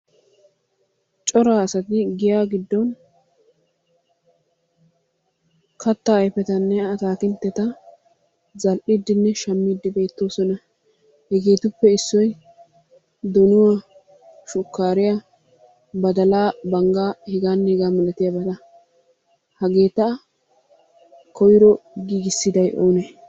Cora asati giyaa giddon kattaa ayfetanne atakiltteta zal"iiddinne shammiiddi beettoosona. Hegeetuppe issoy donuwaa, shukaariya, badalaa, banggaa hegaanne hegaa malatiyabata. Hageeta koyro giigissiday oonee?